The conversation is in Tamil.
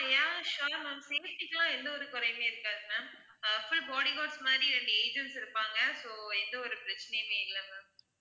ஆஹ் sure ma'am safety க்குலாம் எந்த ஒரு குறையுமே இருக்காது ma'am ah full body guards மாதிரி ரெண்டு agents இருப்பாங்க so எந்த ஒரு பிரச்சனையுமே இல்ல ma'am